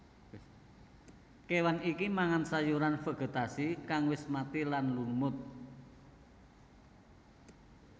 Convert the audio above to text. Kéwan iki mangan sayuran vegetasi kang wis mati lan lumut